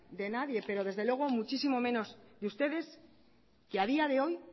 de nadie y desde luego muchísimo menos de ustedes que a día de hoy